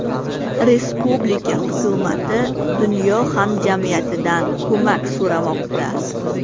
Respublika hukumati dunyo hamjamiyatidan ko‘mak so‘ramoqda.